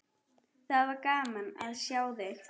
Það var gaman að sjá þig.